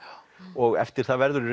og eftir það verður í